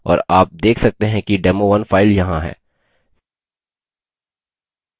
और आप देख सकते हैं कि demo1 file यहाँ है